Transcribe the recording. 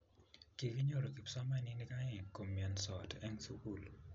Kikinyoru kipsomaninik oeng komiansiot eng sukul